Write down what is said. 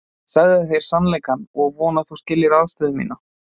Ég sagði þér sannleikann og vona að þú skiljir aðstöðu mína.